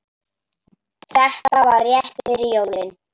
Þetta var rétt fyrir jólin.